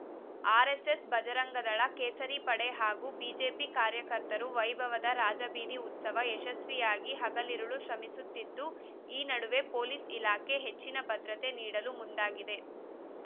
RSS Bajrang Dal ಕೇಸರಿಪಡೆ ಹಾಗೂ BJP ಕಾರ್ಯಕರ್ತರು ವೈಭವದ ರಾಜಬೀದಿ ಉತ್ಸವ ಯಶಸ್ವಿಗಾಗಿ ಹಗಲಿರುಳು ಶ್ರಮಿಸುತ್ತಿದ್ದು ಈ ನಡುವೆ ಪೊಲೀಸ್‌ ಇಲಾಖೆ ಹೆಚ್ಚಿನ ಭದ್ರತೆ ನೀಡಲು ಮುಂದಾಗಿದೆ